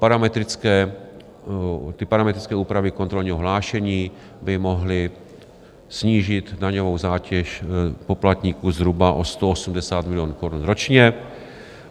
Parametrické úpravy kontrolního hlášení by mohly snížit daňovou zátěž poplatníků zhruba o 180 milionů korun ročně.